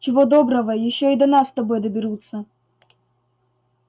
чего доброго ещё и до нас с тобой доберутся